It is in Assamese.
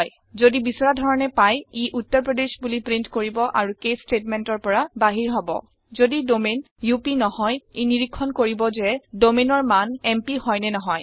যদি বিচৰা ধৰণে পায় ই উত্তাৰ প্ৰদেশ বুলি প্ৰীন্ট কৰিব আৰু কেচ statementৰ পৰা বাহিৰ হব যদি ডমাইন আপ নহয় ই নিৰীক্ষণ কৰিব যে domainৰ মান এমপি হয় নে নহয়